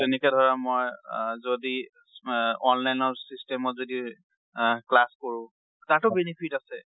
তেনেকে ধৰা মই আ যদি online system যদি class কৰো, তাতো ও benefit আছে।